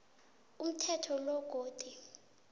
umthetho lo godu